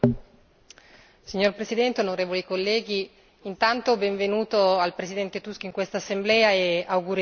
Signor Presidente, onorevoli colleghi, intanto benvenuto al Presidente Tusk in quest'Assemblea e auguri di buon lavoro.